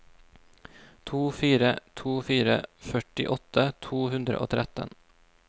to fire to fire førtiåtte to hundre og tretten